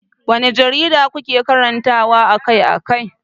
Wanne jarida kuke karantawa akai-akai?